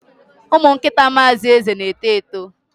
Ụmụ nkịta Mr Eze na-eto eto.